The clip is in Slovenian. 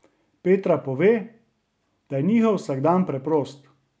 Petra pove, da je njihov vsakdan preprost.